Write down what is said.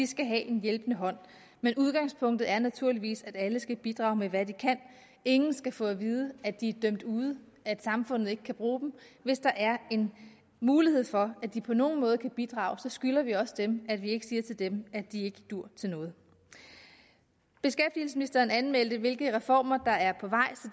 skal have en hjælpende hånd men udgangspunktet er naturligvis at alle skal bidrage med hvad de kan ingen skal få at vide at de er dømt ude at samfundet ikke kan bruge dem hvis der er en mulighed for at de på nogen måde kan bidrage skylder vi også dem at vi ikke siger til dem at de ikke duer til noget beskæftigelsesministeren anmeldte hvilke reformer der er på vej